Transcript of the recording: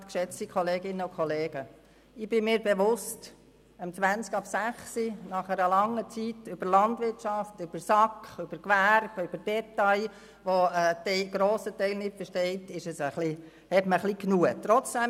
Es ist 18.20 Uhr, und ich bin mir bewusst, dass man nach einer langen Diskussion über Landwirtschaft, über SAK, über Gewerbe, über Details, die ein Grossteil von uns nicht versteht, etwas genug hat.